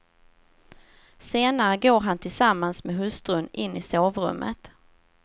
Senare går han tillsammans med hustrun in i sovrummet.